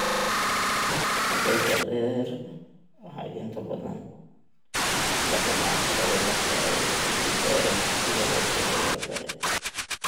Ardayda rer waxay inta badan la kulmaan caqabado marka ay ka gudbayaan dugsiga hoose ilaa sare.